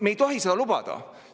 Me ei tohi seda lubada.